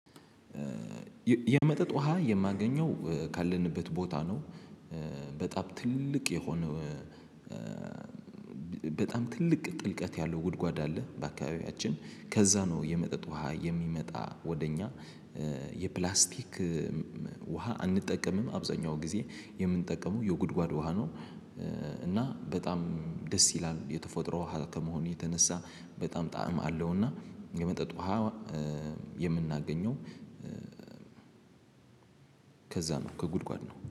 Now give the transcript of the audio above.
የመጠጥ ውሃ የማገኘው ካለንበት ቦታ ነው። በጣም ትልቅ የሆነ በጣም ትልቅ ጥልቀት ያለው ጉድጓድ አለ በአካባቢያችን ከዛ ነው የመጠጥ ውሃ የሚመጣ ወደ እኛ። የፕላስቲክ ውሃ አንጠቀምም አብዛኛው ጊዜ የምንጠቀመው የጉድጓድ ውሃ ነው። እና በጣም ደስ ይላል የተፈጥሮ ውሃ ከመሆኑ የተነሳ በጣም ጣዕም አለውና። የመጠጥ ውሃ የምናገኘው ከዛ ነው ከጉድጓድ ነው